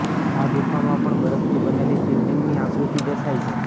આ ગુફામાં પણ બરફથી બનેલી શિવલિંગની આકૃતિ દેખાય છે